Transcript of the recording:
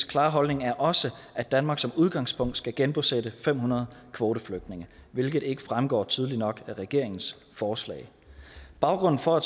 klare holdning er også at danmark som udgangspunkt skal genbosætte fem hundrede kvoteflygtninge hvilket ikke fremgår tydeligt nok af regeringens forslag baggrunden for